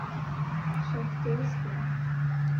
шахтерском